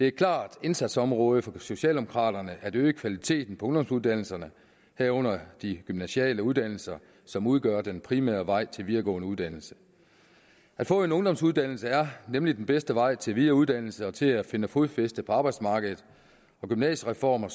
et klart indsatsområde for socialdemokraterne at øge kvaliteten af ungdomsuddannelserne herunder de gymnasiale uddannelser som udgør den primære vej til videregående uddannelse at få en ungdomsuddannelse er nemlig den bedste vej til videreuddannelse og til at finde fodfæste på arbejdsmarkedet og gymnasiereformen